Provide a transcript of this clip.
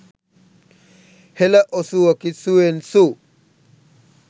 හෙළ ඔසුවකි සුඑන්සූ